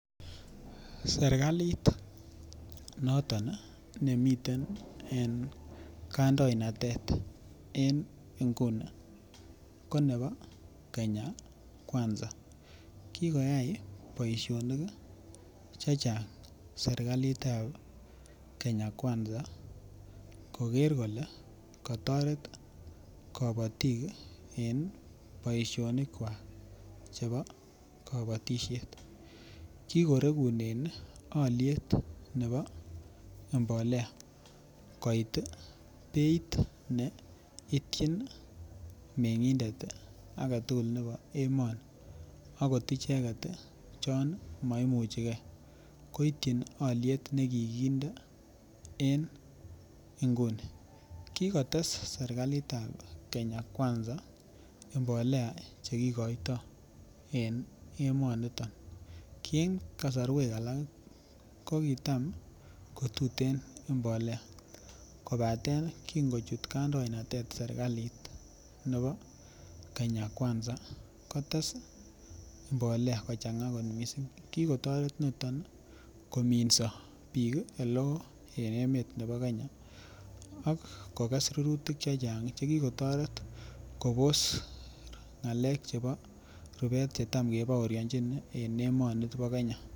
Serkalit noton nemiten en kandoinatet en inguni ko nebo Kenya kwanza kikoyai boisionik chechang serkalit ab Kenya kwanza koger kole kotoret kabatik en boisionik kwak chebo kabatisiet kigoregunen alyet nebo mbolea koit beit neityin mengindet age tugul nebo emoni akot icheget chon maimuche ge koityin alyet ne kikinde en nguni ko kotes serkalit ab Kenya kwanza mbolea Che kigoito en emonito ki en alak ko kitam ko tuten mbolea kobaten kin ko chut kandoinatet serkalit nebo Kenya kwanza kotes mbolea kochanga kot mising ki kotoret noton kominso bik oleo en emet nebo Kenya ak koges rurutik Che Chang Che ki kotoret kobos ngalek chebo rubet Che Tam kebaorionjin en emoni bo Kenya